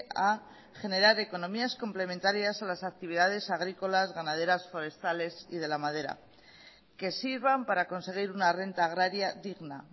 a generar economías complementarias a las actividades agrícolas ganaderas forestales y de la madera que sirvan para conseguir una renta agraria digna